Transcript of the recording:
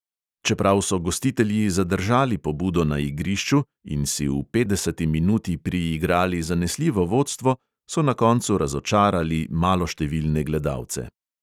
Čeprav so gostitelji zadržali pobudo na igrišču in si v petdeseti minuti priigrali zanesljivo vodstvo, so na koncu razočarali maloštevilne gledalce.